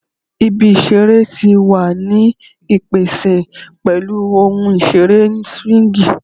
Ibi isere ti wa ni ipese pẹlu ohun isere swingi